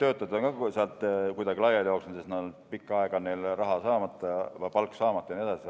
töötajad on sealt kuidagi laiali jooksnud, sest neil on pikka aega palk saamata ja nii edasi.